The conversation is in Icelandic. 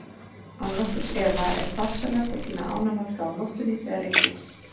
Án nokkurs efa er farsælast að tína ánamaðka á nóttunni þegar rignir.